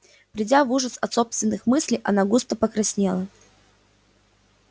придя в ужас от собственных мыслей она густо покраснела